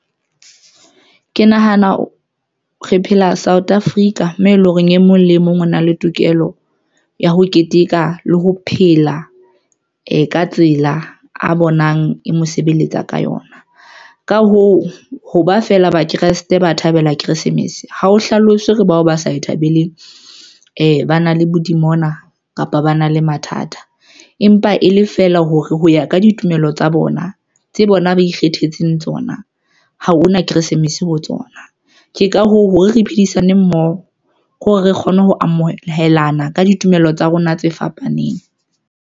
Ke nahana re phela South Africa, mme e leng hore e mong le mong o na le tokelo ya ho keteka le ho phela ka tsela a bonang e mo sebeletsa ka yona. Ka hoo, ho ba feela ba Kresete ba thabela Kresemese ha o hlalose hore bao ba sa e thabeleng , ba na le bodimona kapa ba na le mathata, empa e le feela hore ho ya ka ditulo pelo tsa bona tse bona ba ikgethetseng tsona. Ha hona Keresemes ho tsona, ke ka hoo hore re phedisane mmoho ke hore re kgone ho amohelana ka ditumelo tsa rona tse fapaneng.